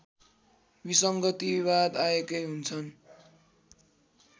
विसङ्गतिवाद आएकै हुन्छन्